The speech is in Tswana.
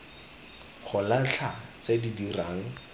go latlha tse di dirang